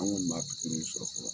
An kɔni m'a pikiriw sɔrɔ fɔlɔ